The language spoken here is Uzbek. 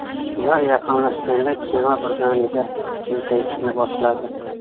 Ular yaqinlashganda kema birdaniga qiyshayishni boshladi.